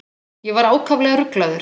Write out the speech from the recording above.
Ég var ákaflega ruglaður.